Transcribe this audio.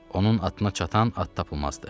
Onun atına çatan at tapılmazdı.